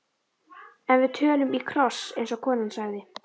En við tölum í kross, eins og konan sagði.